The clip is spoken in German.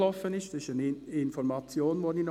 Hierzu möchte ich Ihnen eine Information geben.